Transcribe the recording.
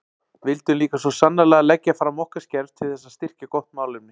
Vildum líka svo sannarlega leggja fram okkar skerf til þess að styrkja gott málefni.